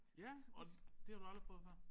Ja og det har du aldrig prøvet før